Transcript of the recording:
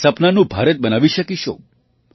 તેમનાં સપનાંનું ભારત બનાવી શકીશું